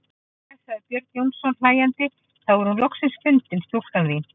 Jæja, sagði Björn Jónsson hlæjandi:-Þá er hún loks fundin stúlkan þín.